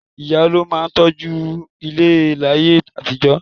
Ìyá ló máa mójú tó ilé láyé àtijọ́